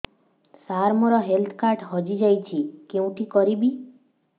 ସାର ମୋର health card ହଜି ଯାଇଛି କେଉଁଠି କରିବି